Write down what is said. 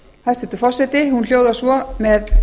hæstvirtur forseti hún hljóðar svo með